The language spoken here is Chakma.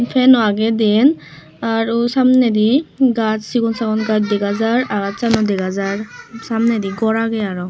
pen oh agey deyan ar oh samneydi gaas segon sagan gaas dega jaar akashsan yo dega jaar samneydi gor agey aro.